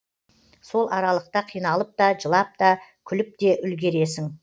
сол аралықта қиналып та жылап та күліп те үлгересің